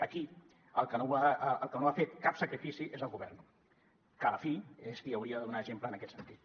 aquí el que no ha fet cap sacrifici és el govern que a la fi és qui hauria de donar exemple en aquest sentit